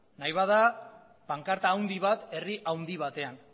nahi bada pankarta handi bat herri handi batean